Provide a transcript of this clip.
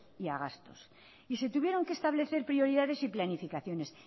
y a gastos y se tuvieron que establecer prioridades y planificaciones